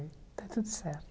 Está tudo certo.